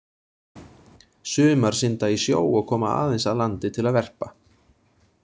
Sumar synda í sjó og koma aðeins að landi til að verpa.